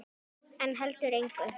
En heldur engu.